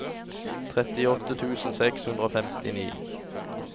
trettiåtte tusen seks hundre og femtini